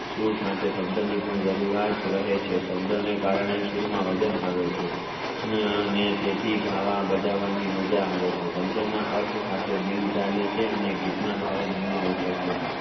સુર સાથે પણ શબ્દોની જરૂરત રહે છે શબ્દો ના કારણે સૂર માં વજન આવે છે. તેથી ગાવા અને બજવણી મજા આવે છે શબ્દો ના અર્થ સાથે દિલ ચાલે છે અને ગીત ના બાવો મન માં ઊઠે છે